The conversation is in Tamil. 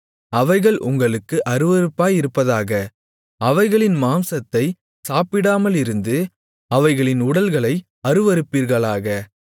அவைகள் உங்களுக்கு அருவருப்பாயிருப்பதாக அவைகளின் மாம்சத்தை சாப்பிடாமலிருந்து அவைகளின் உடல்களை அருவருப்பீர்களாக